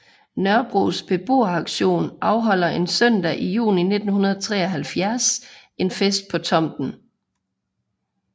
Nørrebros Beboeraktion afholder en søndag i juni 1973 en fest på tomten